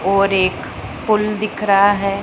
और एक पुल दिख रहा हैं।